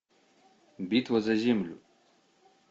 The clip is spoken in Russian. битва за землю